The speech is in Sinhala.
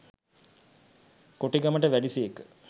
කෝටිගමට වැඩි සේක